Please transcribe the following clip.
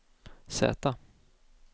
Z